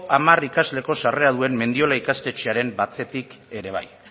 hamar ikasleko sarrera duen mendiola ikastetxearen atzetik ere bai